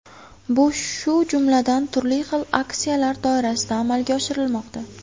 Bu shu jumladan, turli xil aksiyalar doirasida amalga oshirilmoqda.